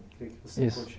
Queria que você... Isso